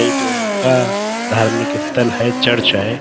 کا دھارمک ستھل ہے۔ چرچ ہے۔